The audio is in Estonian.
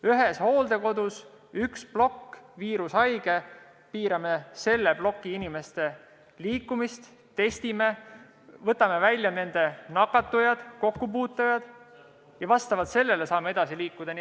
Üks hooldekodu, üks plokk, viirushaige – piirame selle ploki inimeste liikumist, testime, võtame välja nakatunud ja kokkupuutujad ning vastavalt sellele saame edasi liikuda.